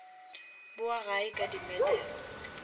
bowa gae ka di medal